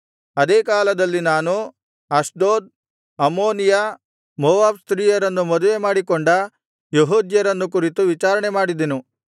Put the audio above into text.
ಅದೇ ಕಾಲದಲ್ಲಿ ನಾನು ಅಷ್ಡೋದ್ ಅಮ್ಮೋನಿಯ ಮೋವಾಬ್ ಸ್ತ್ರೀಯರನ್ನು ಮದುವೆಮಾಡಿಕೊಂಡ ಯೆಹೂದ್ಯರನ್ನು ಕುರಿತು ವಿಚಾರಣೆ ಮಾಡಿದೆನು